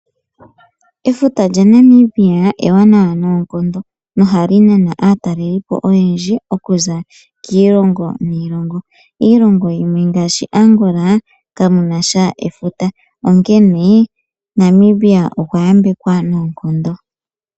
Efuta lya Namibia ewanawa noonkondo nohali nana aatalelipo oyendji okuza kiilongo niilongo. Iilongo ngaashi Angola kayinasha efuta , onkene Namibia okwa yambekwa noonkondo.